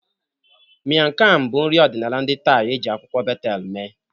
Miang kham bụ nri ọdịnala ndị Thai e ji akwụkwọ betel mee.